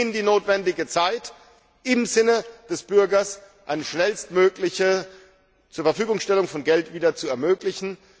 Wir geben ihnen die notwendige Zeit, im Sinne des Bürgers eine schnellstmögliche Zurverfügungstellung von Geld zu ermöglichen.